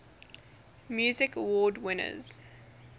music awards winners